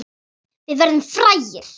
Við verðum frægir.